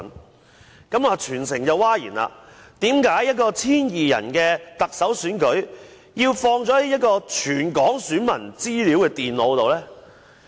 事件令全城譁然，為何一個只有 1,200 人參與的特首選舉，有關電腦中會載有全港選民的資料呢？